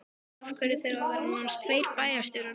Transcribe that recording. Af hverju þurfa að vera nánast tveir bæjarstjórar núna?